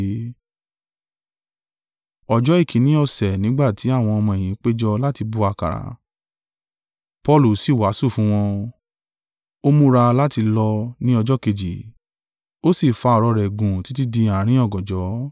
Ọjọ́ èkínní ọ̀sẹ̀ nígbà tí àwọn ọmọ-ẹ̀yìn péjọ láti bu àkàrà, Paulu sì wàásù fún wọn, ó múra láti lọ ní ọjọ́ kejì: ó sì fa ọ̀rọ̀ rẹ̀ gùn títí di àárín ọ̀gànjọ́.